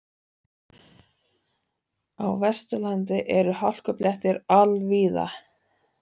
Á Vesturlandi eru hálkublettir all víða